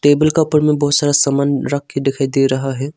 Table का ऊपर में बहुत सारा समान रख के दिखाई दे रहा है।